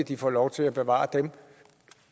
de får lov til at bevare dem